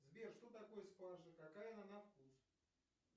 сбер что такое спаржа какая она на вкус